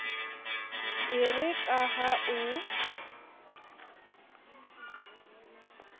e re ka ha o